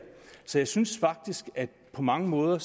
så jeg synes på mange måder